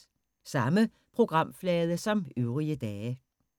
Samme programflade som øvrige dage